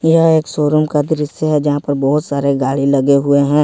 यह एक सोरूम का दृश्य है जहां पर बहुत सारे गाड़ी लगे हुए हैं।